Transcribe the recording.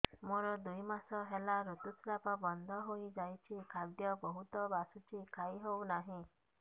ମୋର ଦୁଇ ମାସ ହେଲା ଋତୁ ସ୍ରାବ ବନ୍ଦ ହେଇଯାଇଛି ଖାଦ୍ୟ ବହୁତ ବାସୁଛି ଖାଇ ହଉ ନାହିଁ